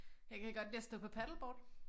Jeg kan godt lide at stå på paddleboard